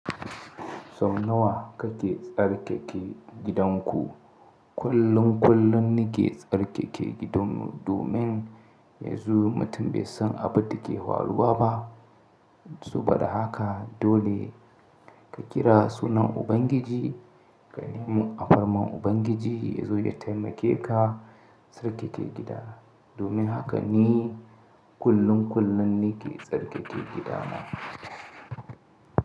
Sau nawa kake tsarkake gidanku? Kullun kullun ne ke tsarkake gidan mu domin yanzu mutum bai san abin da ke faruwa ba. Saboda haka dole ka kira sunan Ubangiji, ka nemi afarman Ubangiji yazo ya taimakeka tsarkake gida. Domin haka ne kullun kullun na ke tsarkake gida na.